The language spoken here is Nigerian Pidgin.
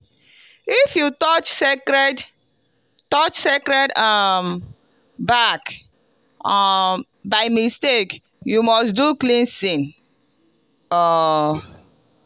if you touch sacred touch sacred um bark um by mistake you must do cleansing. um